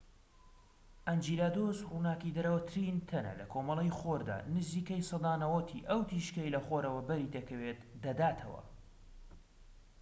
ئەنجیلادۆس ڕووناکیدەرەوەترین تەنە لە کۆمەڵەی خۆردا، نزیکەی سەدا ٩٠ ی ئەو تیشکەی لە خۆرەوە بەری دەکەوێت دەداتەوە